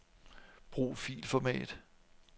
Brug filformat.